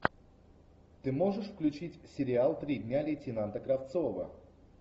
ты можешь включить сериал три дня лейтенанта кравцова